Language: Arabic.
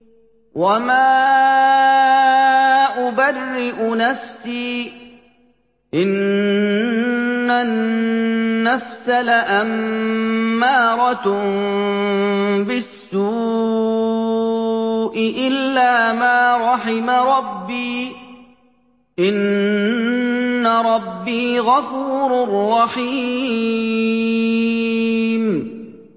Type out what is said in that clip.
۞ وَمَا أُبَرِّئُ نَفْسِي ۚ إِنَّ النَّفْسَ لَأَمَّارَةٌ بِالسُّوءِ إِلَّا مَا رَحِمَ رَبِّي ۚ إِنَّ رَبِّي غَفُورٌ رَّحِيمٌ